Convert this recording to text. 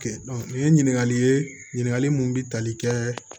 Kɛ nin ye ɲininkali ye ɲininkali mun bɛ tali kɛɛ